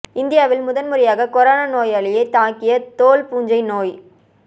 இந்தியாவில் முதன் முறையாக கொரோனா நோயாளியை தாக்கிய தோல் பூஞ்சை நோய்